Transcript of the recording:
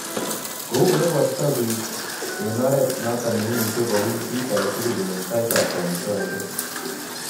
Kou olepwotito biik ko eng' ooret noton neiimuuche kowuny kiit agetugul eng' taitap kamuktaindet